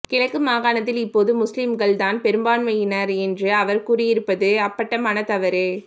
கிழக்கு மாகாணத்தில் இப்போது முஸ்லிம்கள் தான் பெரும்பான்மையினர் என்று அவர் கூறியிருப்பது அப்பட்டமான தவறு